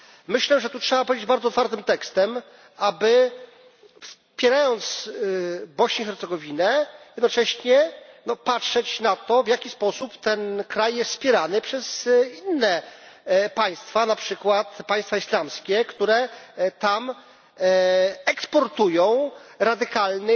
Myślę, że tu trzeba powiedzieć bardzo twardym tekstem, aby wspierając Bośnię i Hercegowinę, jednocześnie patrzeć na to, w jaki sposób ten kraj jest wspierany przez inne państwa, na przykład państwa islamskie, które tam eksportują radykalnych